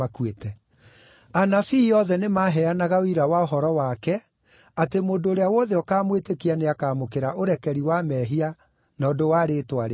Anabii othe nĩmaheanaga ũira wa ũhoro wake atĩ mũndũ ũrĩa wothe ũkaamwĩtĩkia nĩakamũkĩra ũrekeri wa mehia na ũndũ wa rĩĩtwa rĩake.”